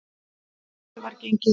Að þessu var gengið.